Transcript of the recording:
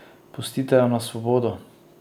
Pustite jo na svobodo!